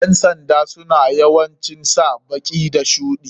Ƴan sanda suna yawancin sa baki da shuɗi.